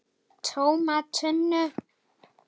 TÓMA TUNNU!